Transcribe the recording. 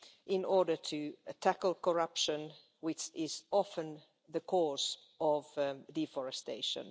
in order to tackle corruption, which is often the cause of deforestation.